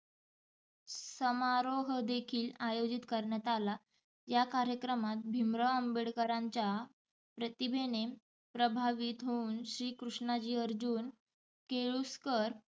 समारोह देखील आयोजित करण्यात आला. या कार्यक्रमात भिमराव आंबेडकरांच्या प्रतिभेने प्रभावित होउन श्री कृष्णाजी अर्जुन केळुस्कर